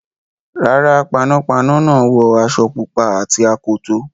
Rárá, panápaná náà wọ aṣọ pupa àti akoto.